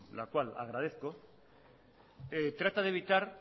la cual agradezco trata de evitar